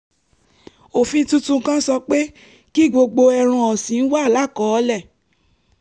òfin tuntun kan sọ pé kí gbogbo ẹran ọ̀sìn wà lákọọ́lẹ̀